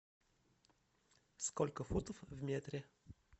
сколько футов в метре